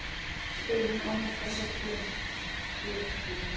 spyr hún án þess að blikna.